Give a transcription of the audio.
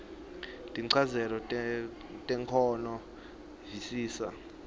tinchazelo temakhono visisa